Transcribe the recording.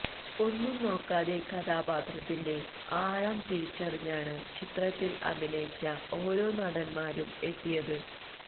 ഒന്നും നോക്കാതെ കഥാപാത്രത്തിന്റെ ആഴം തിരിച്ചറിഞ്ഞാണ് ചിത്രത്തില് അഭിനയിച്ച ഓരോ നടന്മാരും എത്തിയത്